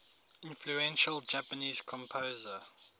influential japanese composer